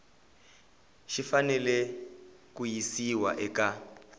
xi fanele ku yisiwa eka